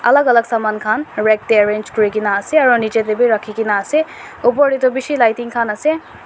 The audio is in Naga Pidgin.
alag alag saman khan rag teh arrange kuri ke na ase aro nicche teh bhi rakhi ke na ase upor teh toh bishi lighting khan ase.